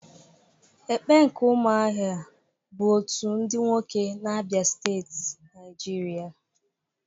Ekpe nke umuahia bu otu ndi nwoke na Abia Steeti, Naijiria,